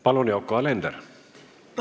Palun, Yoko Alender!